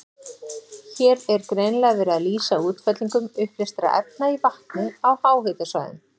Hér er greinilega verið að lýsa útfellingum uppleystra efna í vatni á háhitasvæðum.